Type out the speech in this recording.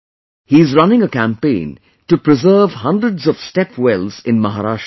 He is running a campaign to preserve hundreds of step wells in Maharashtra